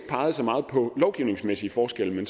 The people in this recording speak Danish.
så meget på lovgivningsmæssige forskelle men